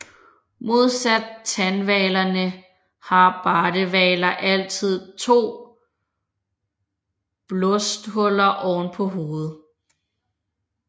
Modsat tandhvalerne har bardehvaler altid to blåsthuller oven på hovedet